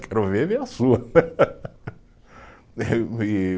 Quero ver, ver a sua.